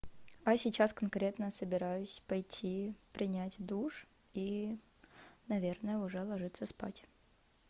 а сейчас конкретно собираюсь пойти принять душ и наверное уже ложиться спать